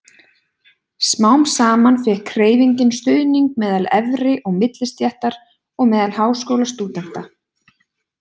Smám saman fékk hreyfingin stuðning meðal efri- og millistéttar og meðal háskólastúdenta.